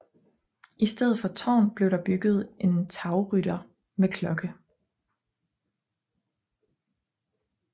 I stedet for tårn blev der bygget en tagrytter med klokke